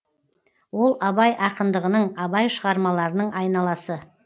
ол абай ақындығының абай шығармаларының айналасы